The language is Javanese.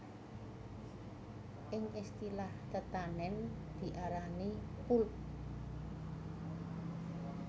Ing istilah tetanèn diarani pulp